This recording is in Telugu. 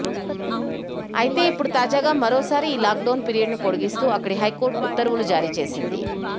అయితే ఇప్పుడు తాజాగా మరోసారి ఈ లాక్ డౌన్ పీరియడ్ ను పొడిగిస్తూ అక్కడి హైకోర్టు ఉత్తర్వులు జారీ చేసింది